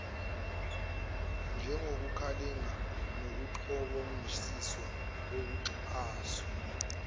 njengokulingana nokucoboshiswa kokucwaswa